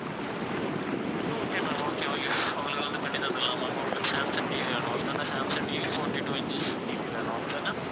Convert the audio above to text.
okay ma'am okay உங்களுக்கு வந்து பண்ணி தந்திடலாம் ma'am உங்களுக்கு சாம்சங் TV வேணும் அப்படித்தான Samsung TV fourty-two inches TV வேணும் அப்படிதான